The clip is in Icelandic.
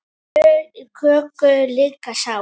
Lög í köku líka sá.